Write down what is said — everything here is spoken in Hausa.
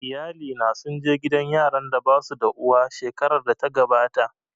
Iyalina sun je gidan yaran da basu da uwa shekarar da ta gabata